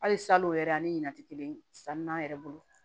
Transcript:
Hali salon yɛrɛ ani ɲina ti kelen san n'an yɛrɛ bolo